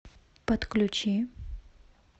подключи